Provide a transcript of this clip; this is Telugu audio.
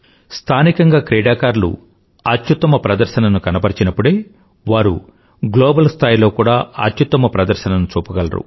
స్థానికంగా క్రీడాకారులు అత్యుత్తమ ప్రదర్శనను కనబరచిప్పుడే వారు గ్లోబల్ స్థాయిలో కూడా అత్యుత్తమ ప్రదర్శనను చూపగలరు